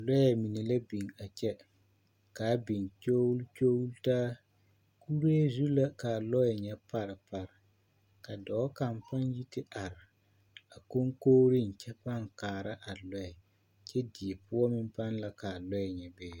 Lɔɛ mine la biŋ a kyɛ ka a biŋ kyogle kyogle taa kuree zu la ka a lɔɛ ŋa pare pare ka dɔɔ kaŋ paa yi te are a koŋkogreŋ kyɛ paa kaara a lɔɛ kyɛ die poɔ meŋ paa la ka a lɔɛ ŋa be.